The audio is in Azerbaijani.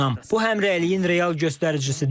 Bu həmrəyliyin real göstəricisidir.